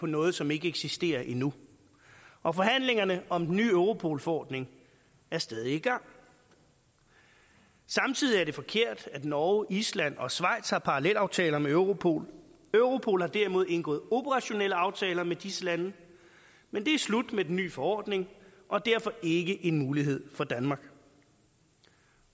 noget som ikke eksisterer endnu og forhandlingerne om den nye europol forordning er stadig i gang samtidig er det forkert at norge island og schweiz har parallelaftaler med europol europol har derimod indgået operationelle aftaler med disse lande men det er slut med den nye forordning og derfor ikke en mulighed for danmark